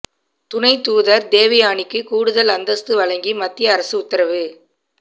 துணை தூதர் தேவ்யானிக்கு கூடுதல் அந்தஸ்து வழங்கி மத்திய அரசு உத்தரவு